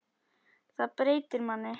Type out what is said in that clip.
Þetta breytir manni.